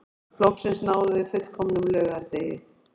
Loksins náðum við fullkomnum laugardegi